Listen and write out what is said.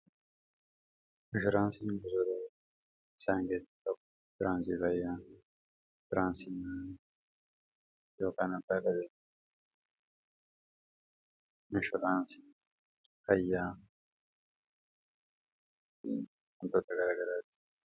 mishiraansii busaroo isaan geetti kabu firaansibayyaa firaansimi yokaanabaababare misharaansi kayyaa hintootta garagadaati